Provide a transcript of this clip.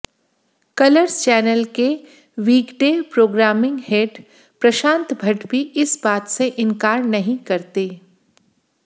colours channel के weekday programming head Prashant Bhatt भी इस बात से इंकार नहीं करते